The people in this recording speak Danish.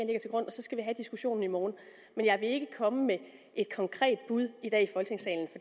så skal vi have diskussionen i morgen men jeg vil ikke komme med et konkret bud i dag